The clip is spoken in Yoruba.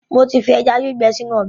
Mo ti fi ẹja gbígbẹ sínú ọbẹ̀.